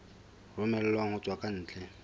romellwang ho tswa ka ntle